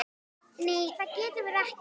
Nei það getum við ekki.